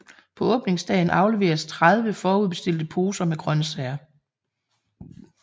På åbningsdagen afleveres 30 forudbestilte poser med grøntsager